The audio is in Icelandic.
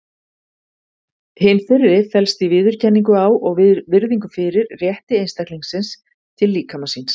Hin fyrri felst í viðurkenningu á og virðingu fyrir rétti einstaklingsins til líkama síns.